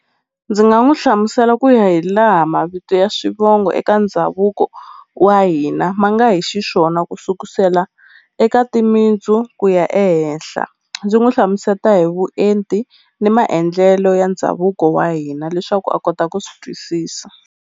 Ndzi nga n'wi hlamusela ku ya hi laha mavito ya swivongo eka ndhavuko wa hina ma nga hi xiswona ku sukusela eka timintsu ku ya ehenhla ndzi n'wi hlamuseta hi vuenti ni maendlelo ya ndhavuko wa hina leswaku a kota ku swi twisisa.